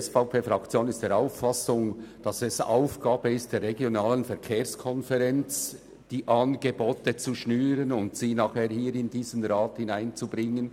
Sie ist der Auffassung, dass es Aufgabe der Regionalen Verkehrskonferenz (RVK) ist, die Angebote zu schnüren und sie danach im Grossen Rat einzubringen.